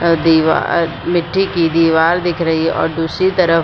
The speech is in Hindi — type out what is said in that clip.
अ दीवार मिट्टी की दीवार दिख रही है और दूसरी तरफ --